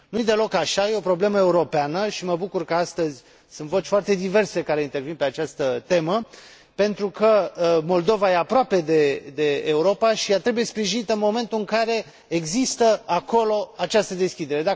Nu i deloc așa, este o problemă europeană și mă bucur că astăzi sunt voci foarte diverse care intervin pe această temă, pentru că Moldova este aproape de Europa și ea trebuie sprijinită în momentul în care există acolo această deschidere